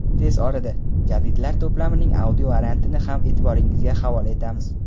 tez orada "Jadidlar" to‘plamining audio variantini ham e’tiboringizga havola etamiz.